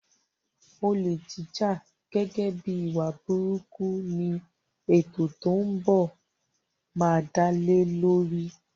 Olè jíjà gẹ́gẹ́ bíi ìwà burúkú ni ètò tó ń bọ̀ máa dálé lórí.